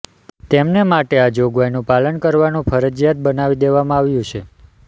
તેમને માટે આ જોગવાઇનું પાલન કરવાનું ફરજીયાત બનાવી દેવામાં આવ્યું છે